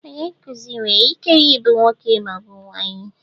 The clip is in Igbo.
Onye nkuzi nwere ike ịbụ nwoke ma ọ bụ nwaanyị.